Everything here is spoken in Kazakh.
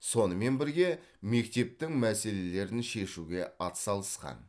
сонымен бірге мектептің мәселелерін шешуге атсалысқан